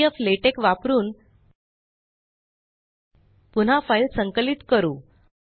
pdflatex वापरुन पुन्हा file संकलित करू